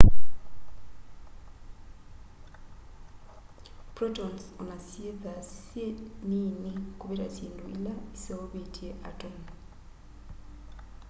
protons ona syithwa syi niini kuvita syindu ila iseuvitye atomu